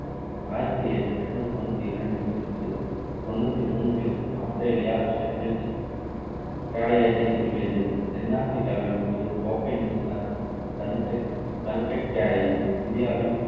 ஆயிரத்து எண்ணூற்று தொண்ணூற்றி இரண்டில் இருந்து தொண்ணூற்றி மூன்றில் ஆஸ்திரேலியா ஷேப்பீல்த் கேடயத்தை நெருங்கியது தென் ஆப்பிரிக்காவில் கூரி கோப்பை நியுசிலாந்து ப்ளங்கெட் ப்ளங்கெட் கேடயம் இந்தியாவில்